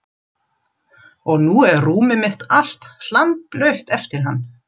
Og nú er rúmið mitt allt hlandblautt eftir hann.